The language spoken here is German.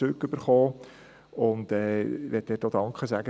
Ich möchte dafür Danke sagen.